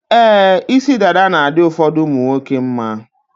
Ee, isi dada na-adị ụfọdụ ụmụnwoke mma.